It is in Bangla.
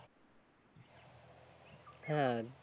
হ্যাঁ